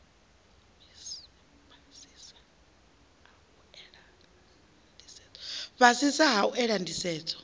fhasisa a u ela nḓisedzo